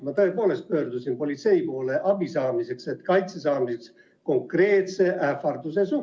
Seega ma tõepoolest pöördusin politsei poole abi saamiseks ja kaitse saamiseks konkreetse ähvarduse eest.